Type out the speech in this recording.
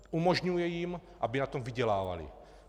Umožňuje jim, aby na tom vydělávali.